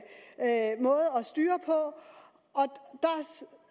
styre på